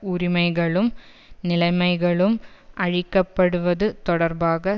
உரிமைகளும் நிலைமைகளும் அழிக்கப்படுவது தொடர்பாக